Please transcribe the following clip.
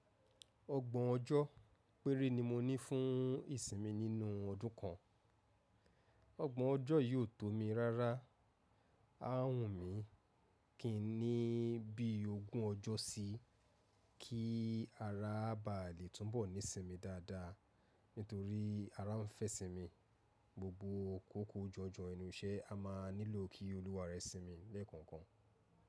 Ọgbọ̀n ọjọ́ péré ni mo ní fún ìsinmi nínú ọdún kan. Ọgbọ̀n ọjọ́ yi ò tó mi rárá, á wù mí, kí n ní bí ogún ọjọ́ síí kí ara ba à lè túnbọ̀ ní isinmi dáadáa. Nítorí ara ń fẹ́ sinmi, gbogbo kóko jọjọ enú iṣẹ́ a máa nílò kí olúwa rẹ sinmi lẹ́ẹ̀kọ̀ọ̀kan.